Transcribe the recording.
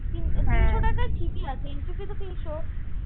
তিনশ টাকা ঠিকই আছে entry fee তো তিনশ